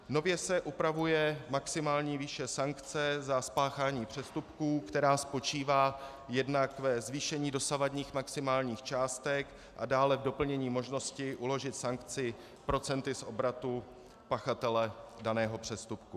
Nově se upravuje maximální výše sankce za spáchání přestupků, která spočívá jednak ve zvýšení dosavadních maximálních částek a dále v doplnění možnosti uložit sankci procenty z obratu pachatele daného přestupku.